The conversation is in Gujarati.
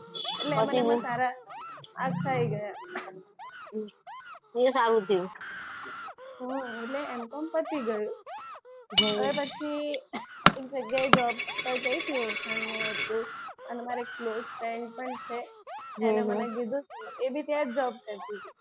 હમ એટલે M com પતી ગયું. હવે પછી એક જગ્યાએ job પર ગઈ તી ઓળખાણમાં હતી તો અને મારે એક close friend પણ છે એને મને કીધું હતું એ બી ત્યાં job કરતી હતી.